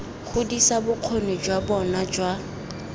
godisa bokgoni jwa bona jwa